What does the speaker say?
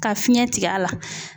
Ka fiɲɛ tigɛ a la.